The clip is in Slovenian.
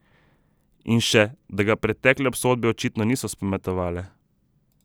In še, da ga pretekle obsodbe očitno niso spametovale.